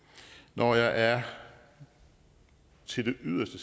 når jeg til det yderste